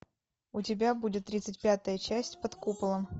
у тебя будет тридцать пятая часть под куполом